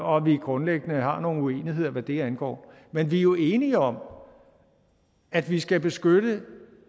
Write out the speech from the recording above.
og at vi grundlæggende har nogle uenigheder hvad det angår men vi er jo enige om at vi skal beskytte